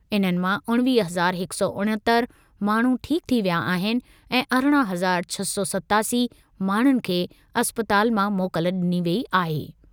इन्हनि मां उणिवीह हज़ार हिक सौ उणहतरि माण्हू ठीक थी विया आहिनि ऐं अरिड़हं हज़ार छह सौ सतासी माण्हुनि खे इस्पताल मां मोकल डि॒नी वेई आहे।